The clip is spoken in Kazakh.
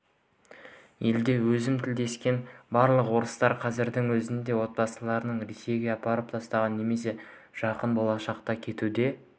елде өзім тілдескен барлық орыстар қазірдің өзінде отбасыларын ресейге апарып тастаған немесе жақын болашақта кетуді